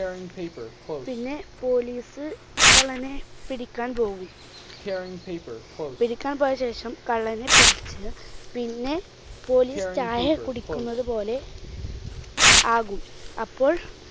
പിന്നെ police കള്ളനെ പിടിക്കാൻ പോകും. പിടിക്കാൻ പോയ ശേഷം കള്ളനെ പിടിച്ച് പിന്നെ police ചായ കുടിക്കുന്നതുപോലെ ആകും. അപ്പോൾ